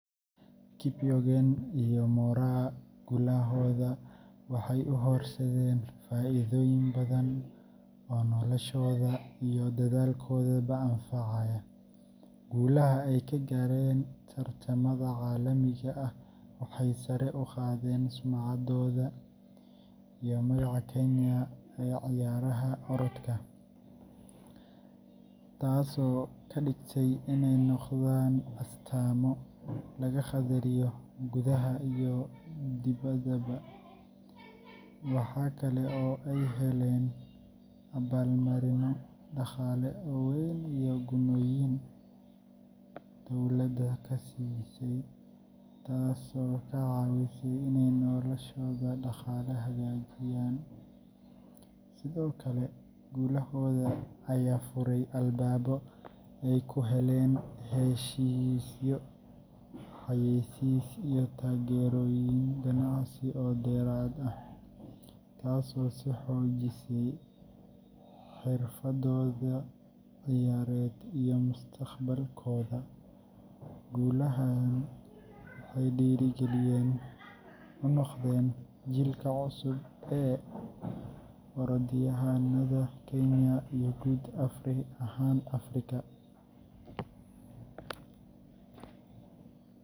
Faith Kipyegon iyo Mary Moraa guulahooda waxay u horseedeen faa’iidooyin badan oo noloshooda iyo dalkoodaba anfacaya. Guulaha ay ka gaareen tartamada caalamiga ah waxay sare u qaadeen sumcaddooda iyo magaca Kenya ee ciyaaraha orodka, taasoo ka dhigtay inay noqdaan astaamo laga qadariyo gudaha iyo dibaddaba. Waxa kale oo ay heleen abaalmarinno dhaqaale oo weyn iyo gunnooyin dowladda ka siisay, taasoo ka caawisay inay noloshooda dhaqaale hagaajiyaan. Sidoo kale, guulahooda ayaa furay albaabo ay ku helaan heshiisyo xayeysiis iyo taageerooyin ganacsi oo dheeraad ah, taasoo sii xoojisay xirfadooda ciyaareed iyo mustaqbalkooda. Guulahan waxay dhiirrigelin u noqdeen jiilka cusub ee orodyahannada Kenya iyo guud ahaan Afrika.